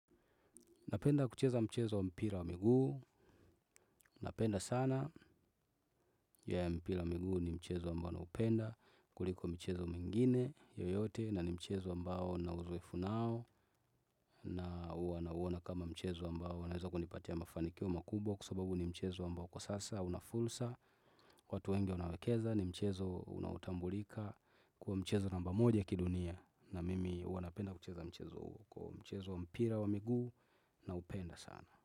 Napenda kucheza mchezo wa mpira wa miguu napenda sana ya mpira wa miguu ni mchezo ambao naupenda, kuliko michezo mingine yoyote na ni mchezo ambao nina urefu nao na huwa nauona kama mchezo ambao naweza kunipatia mafanikio makubwa kwa sababu ni mchezo ambao kwa sasa una fursa, watu wengi wanaekeza ni mchezo unaotambulika kuwa mchezo namba moja kidunia, na mimi huwa napenda kucheza mchezo huo kwa hivyo mchezo wa mpira wa miguu naupenda sana.